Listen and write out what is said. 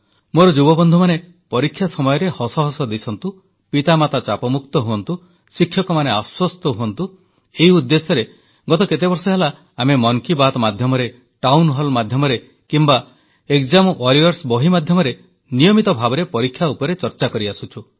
ମୋର ଯୁବବନ୍ଧୁମାନେ ପରୀକ୍ଷା ସମୟରେ ହସ ହସ ଦିଶନ୍ତୁ ପିତାମାତା ଚାପମୁକ୍ତ ହୁଅନ୍ତୁ ଶିକ୍ଷକମାନେ ଆଶ୍ୱସ୍ତ ହୁଅନ୍ତୁ ଏହି ଉଦ୍ଦେଶ୍ୟରେ ଗତ କେତେବର୍ଷ ହେଲା ଆମେ ମନ୍ କି ବାତ୍ ମାଧ୍ୟମରେ ଟାଉନ ହଲ ମାଧ୍ୟମରେ କିମ୍ବା ଏକଜାମ ୱାରିଅର୍ସ ବହି ମାଧ୍ୟମରେ ନିୟମିତ ଭାବେ ପରୀକ୍ଷା ଉପରେ ଆଲୋଚନା କରିଆସୁଛୁ